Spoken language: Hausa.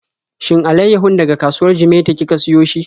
Shin alaiyahun daga kasuwar Jimeta kika siyo shi?